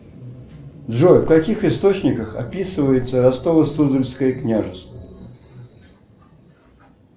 джой в каких источниках описывается ростово суздальское княжество